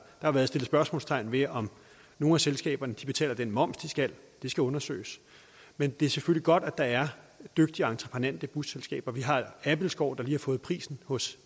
har været sat spørgsmålstegn ved om nogle af selskaberne betaler den moms de skal det skal undersøges men det er selvfølgelig godt at der er dygtige og entreprenante busselskaber vi har abildskou der lige har fået prisen hos